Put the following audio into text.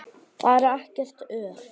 Þar er ekkert ör.